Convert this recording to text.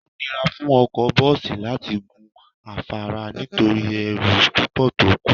Ó nira fún ọkọ bọ́ọ̀sì láti gun afárá nítorí ẹrù púpọ̀ tó kó